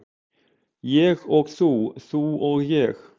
Ég og þú, þú og ég.